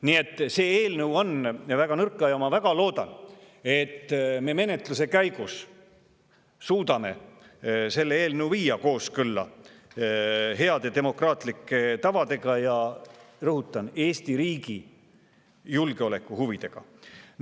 Nii et see eelnõu on väga nõrk ja ma väga loodan, et me suudame menetluse käigus selle eelnõu viia kooskõlla heade demokraatlike tavadega ja – rõhutan – Eesti riigi julgeolekuhuvidega.